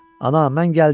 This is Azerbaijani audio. Ana, mən gəldim!